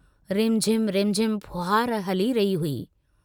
रिमझिम-रिमझिम फुहार हली रही हुई।